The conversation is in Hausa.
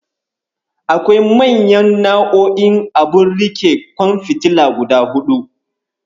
Akwai manyan nau'o'in abun riƙe ƙwan fitila guda huɗu.